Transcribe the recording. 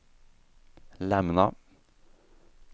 lämna